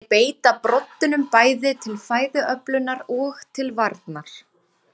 Þeir beita broddinum bæði til fæðuöflunar og til varnar.